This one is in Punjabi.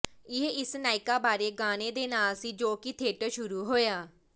ਇਹ ਇਸ ਨਾਇਕਾ ਬਾਰੇ ਗਾਣੇ ਦੇ ਨਾਲ ਸੀ ਜੋ ਕਿ ਥੀਏਟਰ ਸ਼ੁਰੂ ਹੋਇਆ